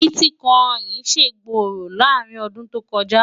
biticoini ṣé gbórò làrin ọdún tó kò jà